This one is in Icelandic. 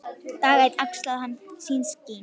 Dag einn axlaði hann sín skinn.